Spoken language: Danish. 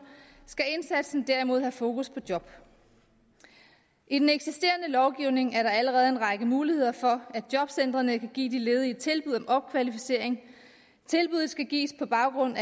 skal indsatsen derimod have fokus på job i den eksisterende lovgivning er der allerede en række muligheder for at jobcentrene kan give de ledige tilbud om opkvalificering tilbuddet skal gives på baggrund